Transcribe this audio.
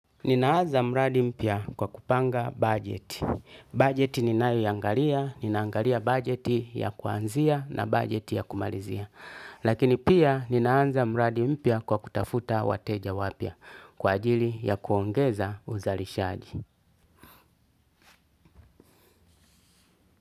Ninaanza mradi mpya kwa kupanga budget. Budget ni nayo iangalia, ninaangalia budget ya kuanzia na budget ya kumalizia. Lakini pia ninaanza mradi mpya kwa kutafuta wateja wapya kwa ajili ya kuongeza uzalishaji.